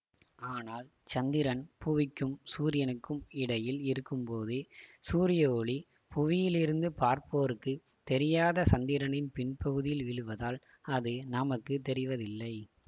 ஆனால் சந்திரன் புவிக்கும் சூரியனுக்கும் இடையில் இருக்கும்போது சூரிய ஒளி புவியிலிருந்து பார்ப்போருக்குத் தெரியாத சந்திரனின் பின்பகுதியில் விழுவதால் அது நமக்கு தெரிவதில்லை